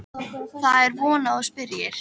Það er von að þú spyrjir.